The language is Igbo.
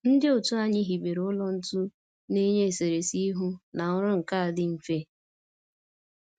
Ndị otu anyị hibere ụlọ ntu na-enye eserese ihu na ọrụ nka dị mfe